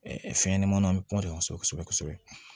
Ɛɛ fɛnɲɛnamaninw bɛ kuma sɔrɔ kosɛbɛ kosɛbɛ